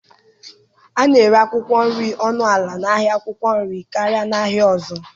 A na-ere akwụkwọ nri ọnụ ala n'ahịa akwụkwọ nri karịa n'ahịa ọzọ.